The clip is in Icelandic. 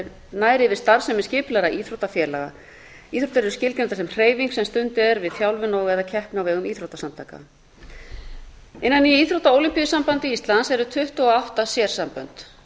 nær yfir starfsemi skipulagðra íþróttafélaga íþróttir eru skilgreindar sem hreyfing sem stunduð er við þjálfun og eða keppni á vegum íþróttasamtaka innan íþrótta og ólympíusambands íslands eru tuttugu og átta sérsambönd